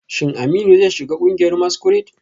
Shin Aminu zai shiga kungiyar masquerade?